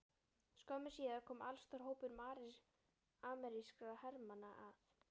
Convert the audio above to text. Skömmu síðar kom allstór hópur amerískra hermanna að